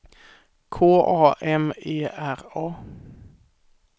K A M E R A